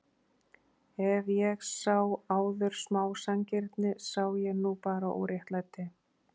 Ef ég sá áður smá sanngirni sá ég nú bara óréttlæti.